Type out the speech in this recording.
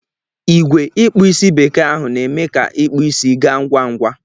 Igwe ikpu Ịsị bekee ahụ n'eme ka ikpu Ịsị ga ngwa ngwa.